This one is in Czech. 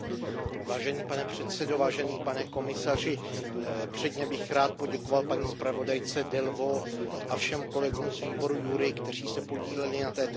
Pane předsedající, pane komisaři, předně bych rád poděkoval paní zpravodajce Delvauxové a všem kolegům z výboru JURI, kteří se podíleli na této zprávě.